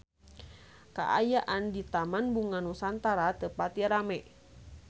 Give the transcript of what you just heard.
Kaayaan di Taman Bunga Nusantara teu pati rame